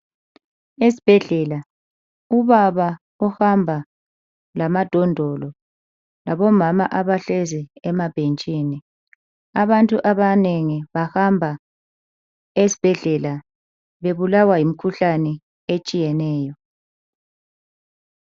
Esibhedlela, ubaba uhamba lamadondolo, labomama abahlezi emabhentshini. Abantu abanengi bahamba esibhedlela bebulawa yimikhuhlane etshiyeneyo.